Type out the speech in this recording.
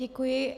Děkuji.